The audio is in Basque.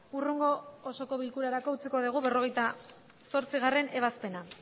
hurrengo osoko bilkurarako utziko dugu berrogeita zortzigarrena ebazpena